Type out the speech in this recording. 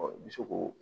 i bɛ se k'o